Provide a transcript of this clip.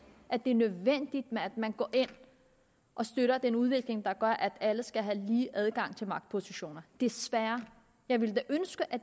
at det er nødvendigt at man går ind og støtter den udvikling der gør at alle skal have lige adgang til magtpositioner desværre jeg ville da ønske at